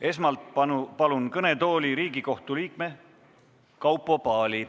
Esmalt palun kõnetooli Riigikohtu liikme Kaupo Paali.